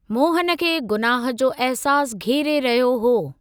मोहन खे गुनाह जो अहसासु घेरे रहियो हो।